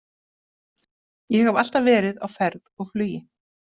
Ég hef alltaf verið á ferð og flugi.